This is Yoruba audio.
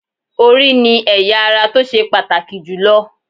Orí ni ẹ̀ya ara tó ṣe pàtàkì jù lọ